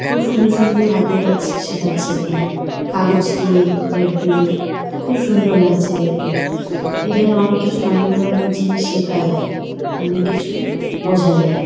খুব সুন্দর সুন্দর হাতের কাজ শেখাচ্ছে এখানে। কাগজ দিয়ে পেপার দিয়ে। খুব সুন্দর লাগছে দেখতে । এখানে অনেক কিছু নানান ধরনের জিনিস শেখা যায়। অনেক কিছু বোঝা যায় ।